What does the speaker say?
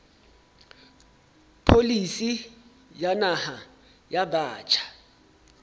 pholisi ya naha ya batjha